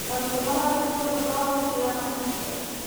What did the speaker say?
Arutwo mararĩrĩria bata wa gũtĩa mahinda.